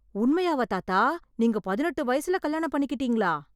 உண்மையாவா தாத்தா நீங்க பதினெட்டு வயசுல கல்யாணம் பண்ணிக்கிட்டிங்களா?